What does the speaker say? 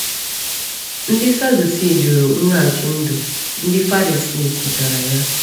Ndị Sadusii jụrụ mweghachi ndụ; Ndị Farisi kwetara ya.